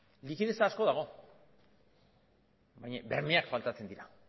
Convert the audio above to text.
likidetza asko dago baina bermeak faltatzen dira